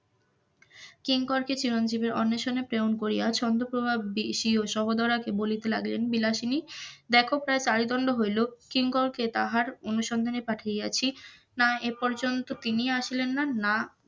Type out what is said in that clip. কিঙ্করকে চিরঞ্জিবের অণ্বেশণে প্রেরণ করিয়া চন্দ্রপ্রভা সহদরাকে বলিতে লাগিলেন বিলাসিনী দেখ প্রায় চারি দন্ড হইল কিঙ্করকে তাহার অনুসন্ধানে পাঠিয়াছি, না এর পর্যন্ত তিনি আসলেন না,